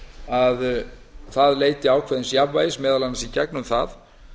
að hann leiti ákveðins jafnvægis meðal annars í gegnum það